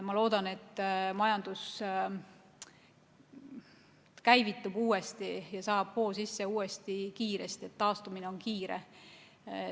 Ma loodan, et majandus käivitub, saab kiiresti hoo sisse ja taastumine on kiire.